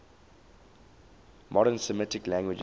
modern semitic languages